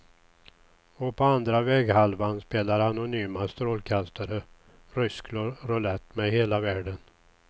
Och på andra väghalvan spelar anonyma strålkastare rysk roulett med hela världen.